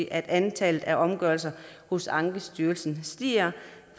at antallet af omgørelser hos ankestyrelsen stiger